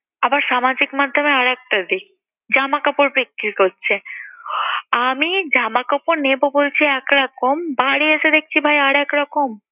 আবার সামাজিক মাধ্যমে আরেকটা দিক, জামাকাপড় বিক্রি করছে। আমি জামাকাপড় নেবো বলছি একরকম বাড়ি এসে দেখছি ভাই আরেক রকম।